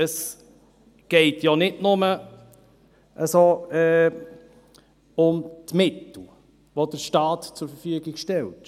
Es geht ja nicht nur um die Mittel, die der Staat zur Verfügung stellt.